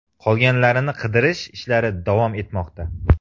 Qolganlarini qidirish ishlari davom etmoqda.